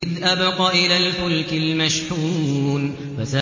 إِذْ أَبَقَ إِلَى الْفُلْكِ الْمَشْحُونِ